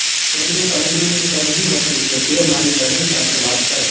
તેમણે સલમાનને કહ્યું હતું કે તે મારી બહેન સાથે વાત કરે